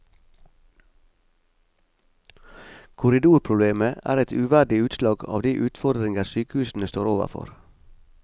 Korridorproblemet er et uverdig utslag av de utfordringer sykehusene står overfor.